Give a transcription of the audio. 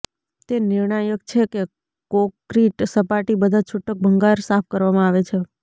તે નિર્ણાયક છે કે કોંક્રિટ સપાટી બધા છૂટક ભંગાર સાફ કરવામાં આવે છે